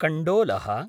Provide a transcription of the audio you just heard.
कण्डोलः